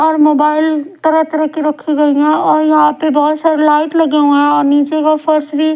और मोबाइल तरह तरह की रखी गई हैं और यहां पे बहुत सारा लाइट लगे हुए हैं और नीचे के फर्श भी।